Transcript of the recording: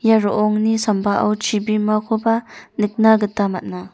ia ro·ongni sambao chibimakoba nikna gita man·a.